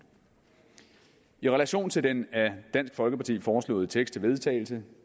i relation til den af dansk folkeparti foreslåede tekst til vedtagelse